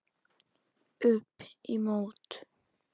Upp í mót.